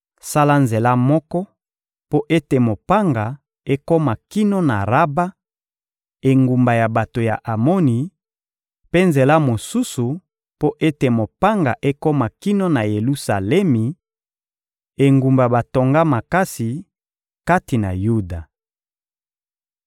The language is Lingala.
Sala nzela moko mpo ete mopanga ekoma kino na Raba, engumba ya bato ya Amoni, mpe nzela mosusu mpo ete mopanga ekoma kino na Yelusalemi, engumba batonga makasi, kati na Yuda.